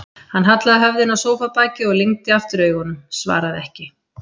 Hann hallaði höfðinu á sófabakið og lygndi aftur augunum, svaraði ekki.